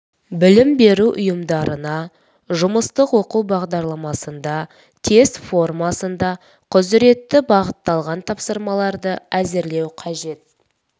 білім беру ұйымдарына жұмыстық оқу бағдарламасында тест формасында құзыретті бағытталған тапсырмаларды әзірлеу қажет